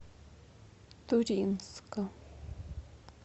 туринска